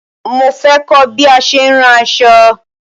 Mo fẹ́ kọ̀ bí a ṣe ń rán aṣọ̣